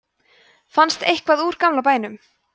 fannst eitthvað úr gamla bænum